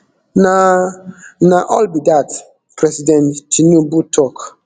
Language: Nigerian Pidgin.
na na all be dat president tinubu tok